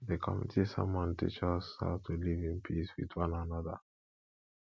the community sermon teach us how to live in peace with one another